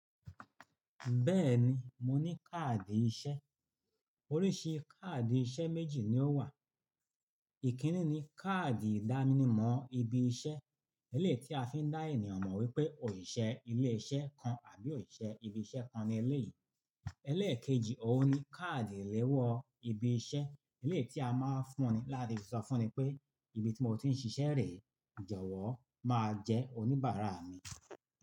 Bẹ́ẹ̀ni, mo ní káàdì iṣẹ́. Oríṣi káàdì iṣẹ́ méjì ni ó wà. Ikínní ni káàdì ìdánimọ̀ ibi iṣẹ́, èlé tí a fi ń dá ènìyàn mọ̀ wípé òṣìṣẹ́ ilé iṣẹ́ kan àbí òṣìṣẹ́ ibi iṣẹ́ kan ni eléyìí. Eléèkejì òhun ni káàdì ìléwọ́ ibi iṣẹ́, èlé tí a máa ń fún ni láti sọ fún ni pé ibi tí mo ti ń ṣiṣẹ́ rẹ̀, ìjọ̀wọ́ máa jẹ́ oníbàárà mi.